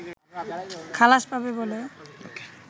খালাস পাবে বলে